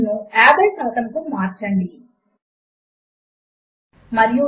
మాత్రికలు మరియు వాటి ఎలిమెంట్లు ఎలా చక్కగా పెట్టబడ్డాయో గమనించండి